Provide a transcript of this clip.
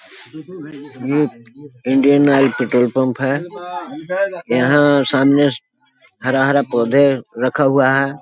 ये Indian Oil petrol pump है यहां सामने हरा हरा पौधे रखा हुआ है।